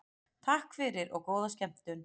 Takk fyrir og góða skemmtun.